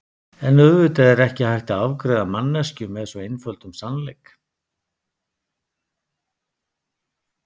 En auðvitað er ekki hægt að afgreiða manneskju með svo einföldum sannleik.